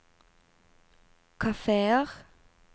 kafeer